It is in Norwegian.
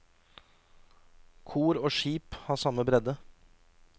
Kor og skip har samme bredde.